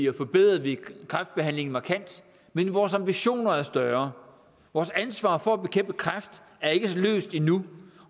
og forbedrede vi kræftbehandlingen markant men vores ambitioner er større vores ansvar for at bekæmpe kræft er ikke løst endnu